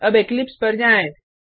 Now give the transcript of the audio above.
अब इक्लिप्स पर जाएँ